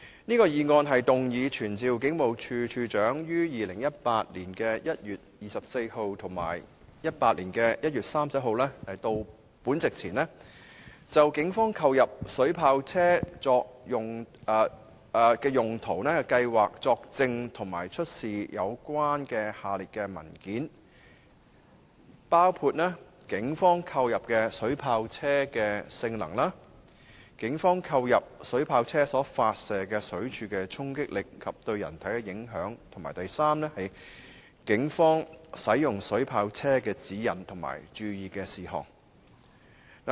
這項議案動議傳召警務處處長於2018年1月24日及2018年1月31日到立法會席前，就警方購入水炮車作行動用途的計劃作證及出示有關下列事宜的文件，包括警方購入的水炮車的性能、警方購入水炮車所發射的水柱的衝擊力及對人體的影響，以及警方使用水炮車的指引及注意事項。